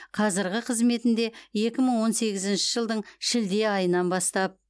қазірғі қызметінде екі мың он сегізінші жылдың шілде айынан бастап